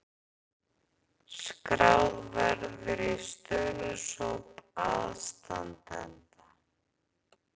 Skráð verður í stuðningshóp aðstandenda